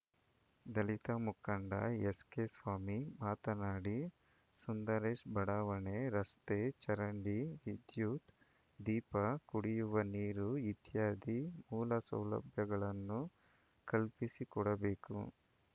ದಲಿತ ಮುಖಂಡ ಎಸ್‌ಕೆಸ್ವಾಮಿ ಮಾತನಾಡಿ ಸುಂದರೇಶ್‌ ಬಡಾವಣೆ ರಸ್ತೆ ಚರಂಡಿ ವಿದ್ಯುತ್‌ ದೀಪ ಕುಡಿಯುವ ನೀರು ಇತ್ಯಾದಿ ಮೂಲಸೌಲಭ್ಯಗಳನ್ನು ಕಲ್ಪಿಸಿಕೊಡಬೇಕು